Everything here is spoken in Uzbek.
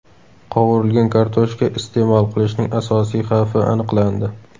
Qovurilgan kartoshka iste’mol qilishning asosiy xavfi aniqlandi.